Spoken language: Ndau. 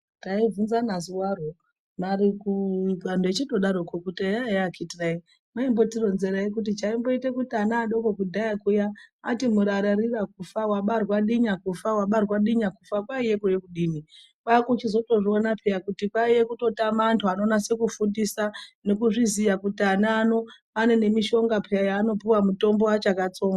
Taivhunzana zuroro vari kuu antu echidaro kuti eya eya akhithi nai mweimbochitironzerai. Kuti chaimboita kuti ana adoko kudhaya kuyaa ati murararira kufa. Wabarwa dinya kufa, wabarwa dinya kufa. Kwaiya kude kudini? Kwakuchizotozviona peyaa kuti kwaiya kutotama antu anonasa kufundisa nekuzviziya kuti ana ano ane mushonga peyaa yaanopuwa mutombo achakatsonga.